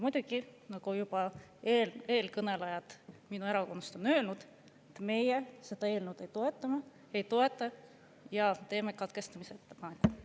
Muidugi, nagu juba eelkõnelejad minu erakonnast on öelnud, meie seda eelnõu ei toeta ja teeme katkestamise ettepaneku.